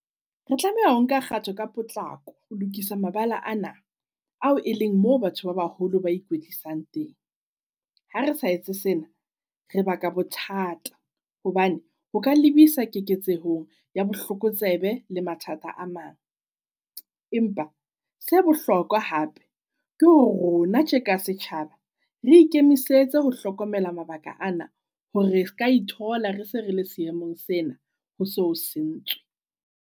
Re tlameha ho nka kgato ka potlako ho lokisa mabala ana ao e leng mo batho ba baholo ba ikwetlisang teng. Ha re sa etse sena re ba ka bothata hobane ho ka lebisa keketseho ya bohlokotsebe le mathata a mang. Empa se bohlokwa hape ke hore rona tje ka setjhaba re ikemisetse ho hlokomela mabaka ana, hore re se ka ithola re se re le seemong sena ho so ho sentswe.